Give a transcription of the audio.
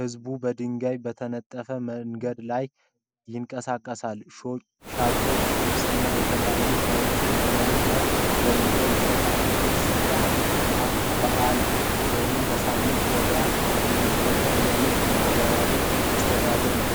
ሕዝቡ በድንጋይ በተነጠፈ መንገድ ላይ ይንቀሳቀሳል። ሻጮች ልብስና የተለያዩ ዕቃዎችን መሬት ላይ ዘርግፈው ይሸጣሉ። ይህ ስፍራ በበዓል ወይም በሳምንታዊ ገበያ የሚፈጠር የንግድና የማኅበራዊ መስተጋብር ነው ።